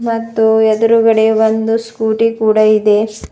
ಮತ್ತು ಎದುರುಗಡೆ ಒಂದು ಸ್ಕೂಟಿ ಕೂಡ ಇದೆ.